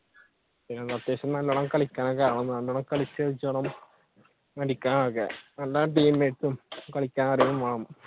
അത്യാവശ്യം നല്ലോണം